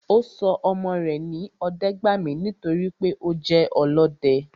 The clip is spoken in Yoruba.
Ọ́ sọ ọmọ re ní Ọdẹ́gbàmí nítorí pé o je olọdẹ